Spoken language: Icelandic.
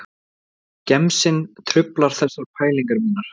Gemsinn truflar þessar pælingar mínar